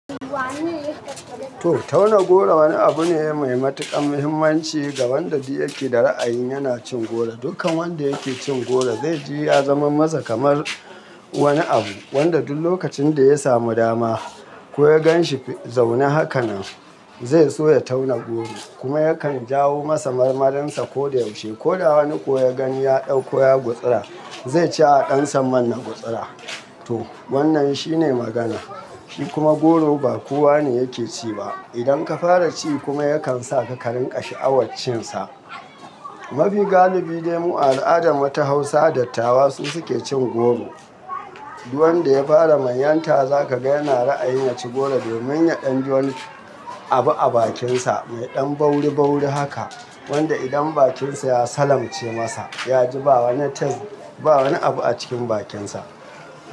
To tauna goro wani abu ne mai matuƙar muhimmanci ga wanda ya ke da ra'ayin yana cin goro. Dukkan wanda yake cin goro zai ji ya zama masa kamar wani abu wanda duk lokacin da ya samu dama ko ya gan shi zaune hakanan, zai so ya tauna goro kuma yakan jawo masa marmarinsa ko da yaushe. Ko da wani ko ya gani ya ɗauko ya gutsura, zai ce a ɗan sa man na gutsura. To wannan shine magana. Shi kuma goro ba kowa ne yake ci ba. Idan ka fara ci kuma yakan sa ka rinƙa sha'awaccinsa. Mafi galibi dai mu al'ada mata Hausa dattawa su suke cin goro. Duwanda ya fara manyanta za ka ga yana ra'ayin ya ci goro domin ya ɗan ji wani abu a bakinsa mai ɗan bauri bauri haka, wanda idan bakinsa ya salamce masa, ya ji ba wani tes-- ba wani abu a cikin bakinsa.